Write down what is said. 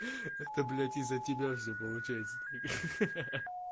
это блять из-за тебя все получается ха-ха